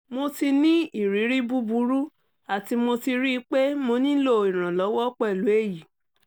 mo ti ni iriri buburu ati mo ti rii pe mo nilo iranlọwọ pẹlu eyi